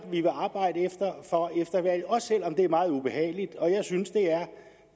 vi vil arbejde for efter valget også selv om det er meget ubehageligt og jeg synes